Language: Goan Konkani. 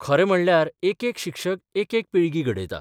खरें म्हणल्यार एकेक शिक्षक एकेक पिळगी घडयता.